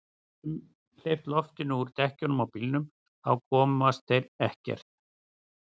Við getum hleypt loftinu úr dekkjunum á bílnum. þá komast þeir ekkert.